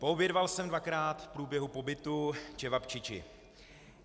Poobědval jsem dvakrát v průběhu pobytu čevabčiči.